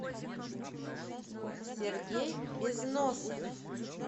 сергей безносов